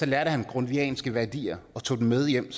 lærte han grundtvigianske værdier og tog dem med hjem